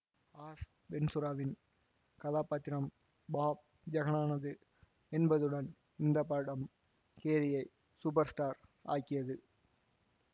as வென்ச்சுராவின் கதாபாத்திரம் pop ஐகானானது என்பதுடன் இந்த படம் கேரியை சூப்பர்ஸ்டார் ஆக்கியது